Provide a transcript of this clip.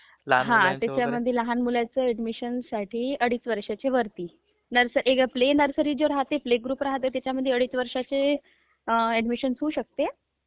ping हा त्याच्यमध्ये लहान मुलांची ऍडमिशनसाठी अडीच वर्षाचे वरती. प्री नर्सरी जे राहाते....प्लेग्रुप राहाते त्याच्यामध्ये अडीच वर्षाचे अम्म्....ऍडमिशन घेऊ शकते..